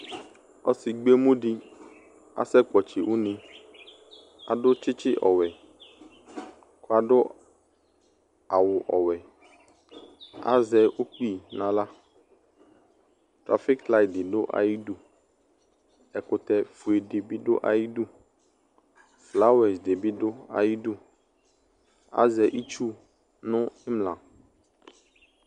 Ɔsi gbɔ emu di asɛkpɔtsi une Adʋ tsitsi ɔwɛ kʋ adʋ awʋ ɔwɛ Azɛ ukpi n'aɣla Trafik liti di dʋ ayidu Ɛkʋtɛ fue di bi dʋ ayidu Flawɛsi di bi dʋ ayidu Azɛ itsu nʋ imla